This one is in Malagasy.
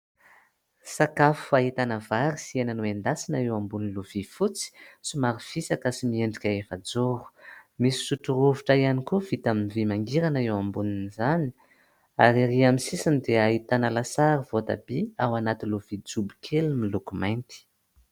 Sakafo ahitana vary sy hena noendasina eo ambony lovia fotsy, somary fisaka sy miendrika efajoro, misy sotro rovitra koa vita amin'ny vy mangirana eo ambonin'izany, ary ery amin'ny sisiny dia ahitana lasary voatabia ao anaty lovia jobo kely miloko mainty.